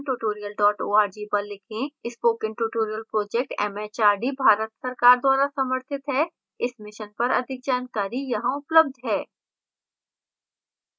spoken tutorial project MHRD Bharat सरकार द्वारा समर्थित है इस mission पर अधिक जानकारी यहां उपलब्ध है: